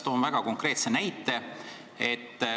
Toon väga konkreetse näite.